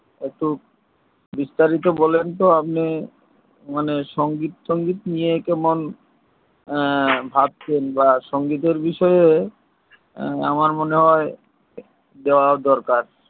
একটু বিস্তারিত বলেন তো আপনি মানে সঙ্গীত টঙ্গীত নিয়ে কেমন হা ভাবছেন বা সঙ্গীতের বিষয়ে আমার মনে হয় যাওয়া দরকার